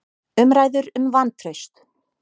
Umræður um vantraust